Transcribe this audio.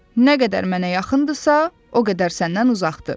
nə qədər mənə yaxındırsa, o qədər səndən uzaqdır.